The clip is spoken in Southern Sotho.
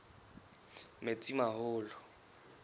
metsimaholo